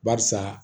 Barisa